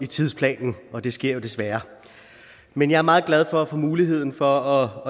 i tidsplanen og det sker jo desværre men jeg er meget glad for at få muligheden for